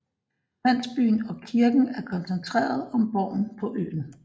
Landsbyen og kirken er koncentreret om borgen på øen